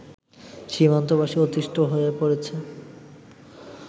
সীমান্তবাসী অতিষ্ঠ হয়ে পড়েছে